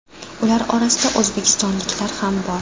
Ular orasida o‘zbekistonliklar ham bor.